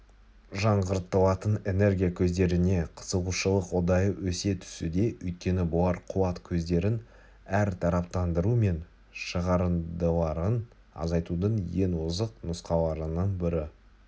жаңғыртылатын энергия көздеріне қызығушылық ұдайы өсе түсуде өйткені бұлар қуат көздерін әртараптандыру мен шығарындыларын азайтудың ең озық нұсқаларының бірі